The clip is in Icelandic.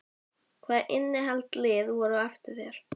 Svitinn bogaði af enni hans þó að morgunloftið væri svalt.